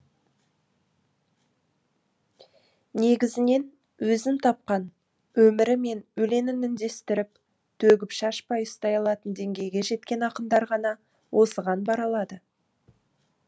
негізінен өзін тапқан өмірі мен өлеңін үндестіріп төгіп шашбай ұстай алатын деңгейге жеткен ақындар ғана осыған бара алады